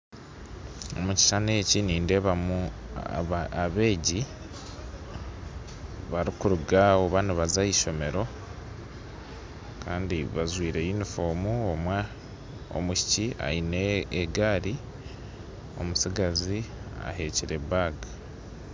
Omu kishushani eki nindeebamu abeegi barikuruga oba nibaza aha ishomero kandi bajwaire yunifoomu omwishiki aine egaari, omutsigazi ahekyire baga